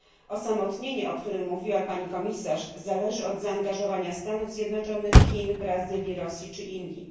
Osamotnienie, o którym mówiła pani komisarz, zależy od zaangażowania Stanów Zjednoczonych, Chin, Brazylii, Rosji czy Indii.